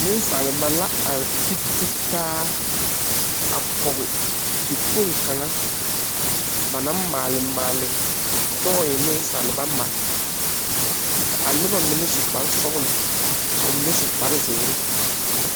Ninsaaliba la arẽ te te taa a kɔgi dakpong kanga ba maale maale toy ninsaaliba mari ka a nuba mene su kpare sɔglo ka ba mene su kpare ziiri.